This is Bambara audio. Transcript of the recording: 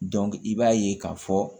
i b'a ye k'a fɔ